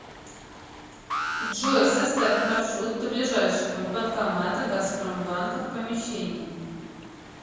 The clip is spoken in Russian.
джой составь маршрут до ближайшего банкомата газпромбанка в помещении